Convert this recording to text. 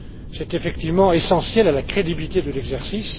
C'est effectivement essentiel à la crédibilité de l'exercice.